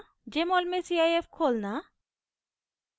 jmol में cif खोलना